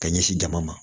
Ka ɲɛsin dama ma